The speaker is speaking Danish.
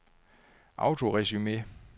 autoresume